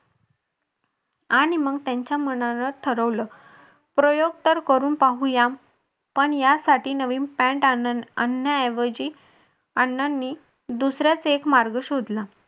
आणि मग त्यांच्या मनानं ठरवलं प्रयोग तर करून पाहूया पण यासाठी नवीन पॅन्ट आणण्या ऐवजी अण्णांनी दुसराच एक मार्ग शोधला.